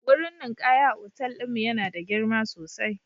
Wurin ninkaya a otal ɗin mu yana da girma sosai